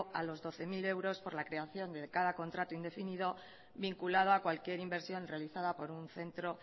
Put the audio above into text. a los doce mil euros por la creación de cada contrato indefinido vinculado a cualquier inversión realizada por un centro